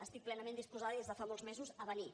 estic plenament disposada i des de fa molts mesos a venir